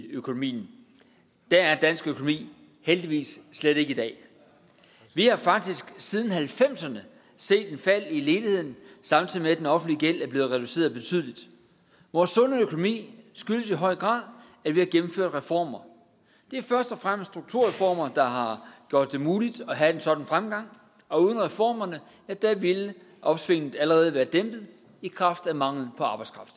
økonomien der er dansk økonomi heldigvis slet ikke i dag vi har faktisk siden nitten halvfemserne set et fald i ledigheden samtidig med at den offentlige gæld er blevet reduceret betydeligt vores sunde økonomi skyldes i høj grad at vi har gennemført reformer det er først og fremmest strukturreformer der har gjort det muligt at have en sådan fremgang og uden reformerne ville opsvinget allerede være dæmpet i kraft af mangel på arbejdskraft